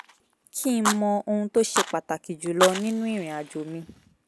kí n mọ ohun tó ṣe pàtàkì jù lọ nínú ìrìn àjò mi